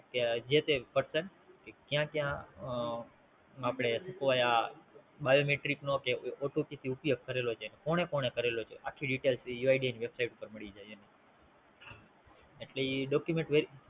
જે તે Percent ક્યાં ક્યાં આ આપડે આ Biometric નો કે OTP થી ઉપયોગ કરેલો છે કોને કોને કરેલો છે આખ્ખી ડીટેલ UID ની Website પરથી મળી જાય છે એટલે એ Document very